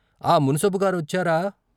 ఆ మున్సబుగారొచ్చారా?